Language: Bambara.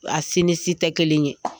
A si ni si tɛ kelen ye.